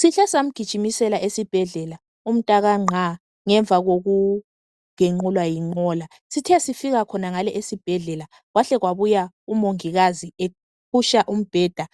Sihle samgijimisela esibhedlela umtaka Ngqa ngemva kokugenqulwa yinqola sithe sifika khonangale esibhedlela kwahle wabuya umongikazi efuqa umbheda